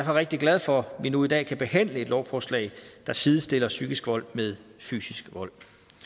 rigtig glad for at vi nu i dag kan behandle et lovforslag der sidestiller psykisk vold med fysisk vold